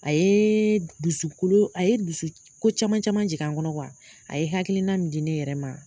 A ye dusukolo a ye dusu ko caman caman jigin kɔnɔ a ye hakilina min di ne yɛrɛ ma